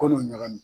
Ko n'u ɲagamin